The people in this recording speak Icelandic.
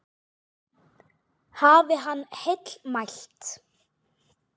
Hafi hann heill mælt.